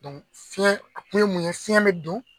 fiɲɛ, a kun ye mun ye fiɲɛ bɛ don,